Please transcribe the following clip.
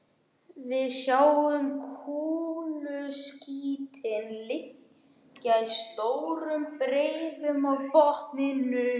Við sjáum kúluskítinn liggja í stórum breiðum á botninum.